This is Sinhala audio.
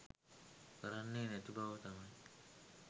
කරන්නේ නැති බව තමයි